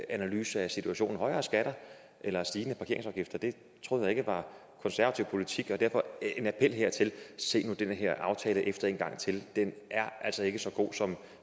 analyse af situationen højere skatter eller stigende parkeringsafgifter det troede jeg ikke var konservativ politik og derfor denne appel se nu den her aftale efter en gang til den er altså ikke så god som